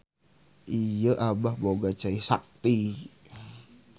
Ieu Abah boga cai sakti.